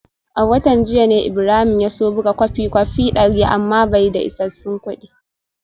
A watan jiya ne Ibrahim ya so buga kwafin kwafi dari amma bai da isassun kudi